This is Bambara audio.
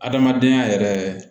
Adamadenya yɛrɛ